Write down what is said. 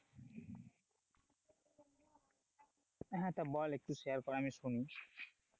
হ্যাঁ তা বল একটু share কর আমি শুনি,